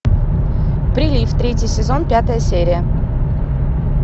прилив третий сезон пятая серия